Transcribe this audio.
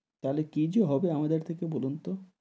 তাহলে কি যে হবে আমাদের থেকে বলুন তো?